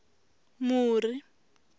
muri